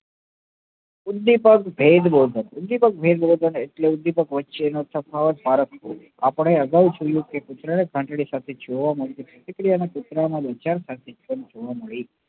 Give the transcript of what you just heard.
કુળદીપક ભેદ બોધક કુળદીપક ભેદ બોધક અને એટલે દીપક વચ્ચે નો તફાવત આપડે અગાઉ જોઈએ કે પુત્ર ને ઘંટડી ને મળતી દીકરી અને પુત્ર વેચાણ સાથે